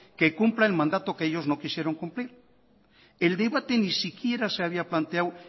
que cumpla el mandato que ellos no quisieron cumplir el debate ni siquiera se había planteado